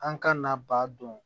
An ka na baa don